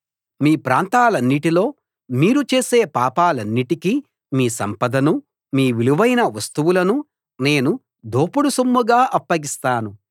మీ ప్రాంతాలన్నిటిలో మీరు చేసే పాపాలన్నిటికీ మీ సంపదనూ మీ విలువైన వస్తువులనూ నేను దోపుడు సొమ్ముగా అప్పగిస్తాను